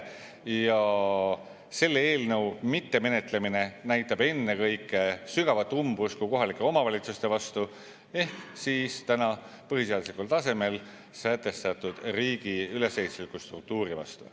Ja selle eelnõu mittemenetlemine näitab ennekõike sügavat umbusku kohalike omavalitsuste vastu ehk siis põhiseaduslikul tasemel sätestatud riigi ülesehitusliku struktuuri vastu.